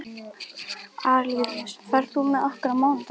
Arilíus, ferð þú með okkur á mánudaginn?